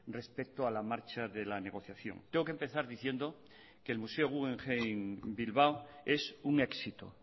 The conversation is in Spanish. respecto a la marcha de la negociación tengo que empezar diciendo que el museo guggenheim bilbao es un éxito